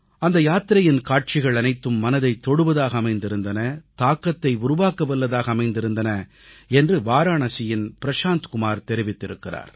அந்த யாத்திரையின் காட்சிகள் அனைத்தும் மனதைத் தொடுவதாக அமைந்திருந்தன தாக்கத்தை உருவாக்கவல்லதாக அமைந்திருந்தன என்று வாராணசியின் பிரசாந்த் குமார் தெரிவித்திருக்கிறார்